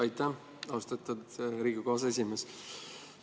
Aitäh, austatud Riigikogu aseesimees!